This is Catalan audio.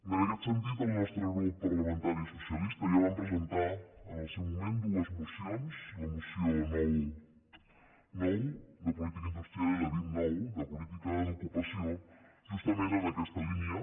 en aquest sentit el nostre grup parlamentari socialista ja vam presentar al seu moment dues mocions la moció nou ix de política industrial i la vint ix de política d’ocupació justament en aquesta línia